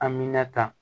Amina ta